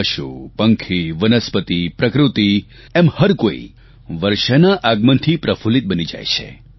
પશુ પંખી વનસ્પતિ પ્રકૃતિ એમ હરકોઇ વર્ષાના આગમનથી પ્રફુલ્લિત બની જાય છે